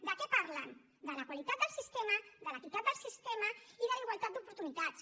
de què parlen de la qualitat del sistema de l’equitat del sistema i de la igualtat d’oportunitats